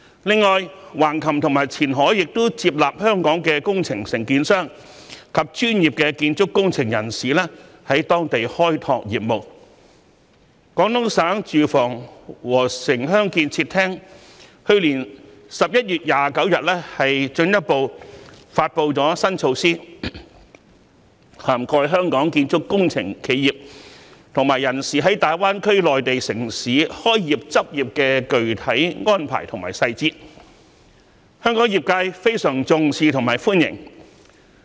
此外，橫琴及前海亦接納香港的工程承建商及專業的建築工程人員在當地開拓業務，廣東省住房和城鄉建設廳去年11月29日更進一步發布新措施，涵蓋香港建築工程企業及人員在大灣區內地城市開業執業的具體安排及細節，香港業界對此非常重視及深表歡迎。